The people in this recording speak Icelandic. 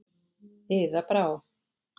Iða Brá.